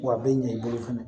Wa a bɛ ɲɛ i bolo fana